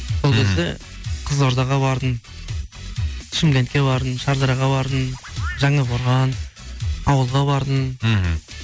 сол кезде қызылордаға бардым шымкентке бардым шардараға бардым жаңақорған ауылға бардым мхм